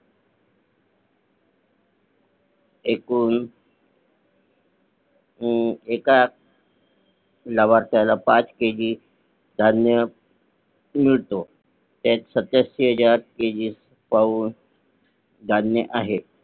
एकूण एका लाभार्थ्याला पाच KG धान्य मिळतो सत्याऐंशी हजार KG धान्य आहे